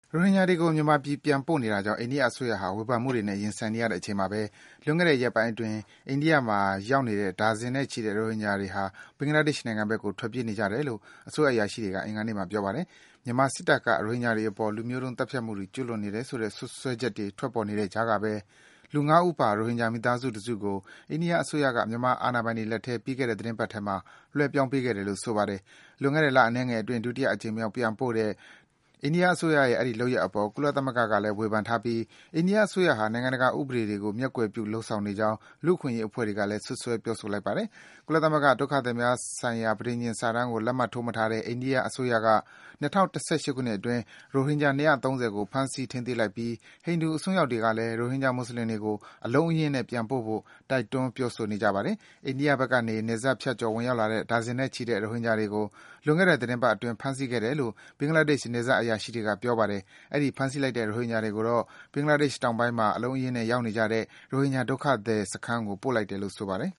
ရိုဟင်ဂျာတွေကို မြန်မာပြည်ပြန်ပို့နေတာကြောင့် အိန္ဒိယအစိုးရဟာ ဝေဖန်မှုတွေနဲ့ ရင်ဆိုင်နေရချိန်မှာဘဲ လွန်ခဲ့တဲ့ ရက်ပိုင်းအတွင်း အိန္ဒိယမှာ ရောက်နေတဲ့ ဒါဇင်နဲ့ချီတဲ့ ရိုဟင်ဂျာတွေဟာ ဘင်္ဂလားဒေ့ရှ်နိုင်ငံဘက်ကို ထွက်ပြေးနေကြတယ်လို့ အစိုးရ အရာရှိတွေက အင်္ဂါနေ့မှာ ပြောပါတယ်။ မြန်မာစစ်တပ်က ရိုဟင်ဂျာတွေအပေါ် လူမျိုးတုံး သတ်ဖြတ်မှုတွေ ကျူးလွန်နေတယ်ဆိုတဲ့ စွပ်စွဲချက်တွေ ပေါ်ထွက်နေတဲ့ကြားကဘဲ လူ ၅ ဦးပါ ရိုဟင်ဂျာ မိသားစု တစုကို အိန္ဒိယအစိုးရက မြန်မာအာဏာပိုင်တွေလက်ထဲ ပြီးခဲ့တဲ့ သီတင်းပတ်မှာ လွဲပြောင်းပေးခဲ့တယ်လို့ ဆိုပါတယ်။ လွန်ခဲ့တဲ့ လအနည်းငယ်အတွင်း ဒုတိယအကြိမ်မြောက် ပြန်ပို့တဲ့ အိန္ဒိယအစိုးရရဲ့ အဲဒီ လုပ်ရပ်အပေါ် ကုလသမဂ္ဂကလည်း ဝေဖန်ထားပြီး၊ အိန္ဒိယအစိုးရဟာ နိုင်ငံတကာ ဥပဒေတွေကို မျက်ကွယ်ပြု လုပ်ဆောင်နေကြောင်း လူ့အခွင့်အရေး အဖွဲ့တွေကလည်း စွပ်စွဲ ပြောဆိုလိုက်ပါတယ်။ ကုလသမဂ္ဂ ဒုက္ခသည်များဆိုင်ရာ ပဋိဉာဏ်စာတမ်းကို လက်မှတ်ထိုးမထားတဲ့ အိန္ဒိယအစိုးရက ၂၀၁၈ ခုနှစ်အတွင်း ရိုဟင်ဂျာ ၂၃၀ ကို ဖမ်းဆီး ထိန်းသိမ်းလိုက်ပြီး ဟိန္ဓူအစွန်းရောက်တွေကလဲ ရိုဟင်ဂျာ မွတ်ဆလင်တွေကို အလုံးအရင်းနဲ့ ပြန်ပို့ဖို့ တိုက်တွန်း ပြောဆိုနေကြပါတယ်။ အိန္ဒိယဘက်ကနေ နယ်စပ်ဖြတ်ကျော် ဝင်ရောက်လာတဲ့ ဒါဇင်နဲ့ချီတဲ့ ရိုဟင်ဂျာတွေကို လွန်ခဲ့တဲ့ သီတင်းပတ်အတွင်း ဖမ်းဆီးခဲ့တယ်လို့ ဘင်္ဂလားဒေ့ရှ် နယ်စပ် အရာရှိတွေက ပြောပါတယ်။ အဲဒီ ဖမ်းဆီးလိုက်တဲ့ ရိုဟင်ဂျာတွေကိုတော့ ဘင်္ဂလားဒေ့ရှိတောင်ပိုင်းမှာ အလုံးအရင်းနဲ့ ရောက်နေကြတဲ့ ရိုဟင်ဂျာ ဒုက္ခသည်စခန်းကို ပို့လိုက်တယ်လို့ ဆိုပါတယ်